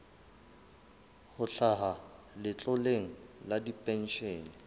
ho hlaha letloleng la dipenshene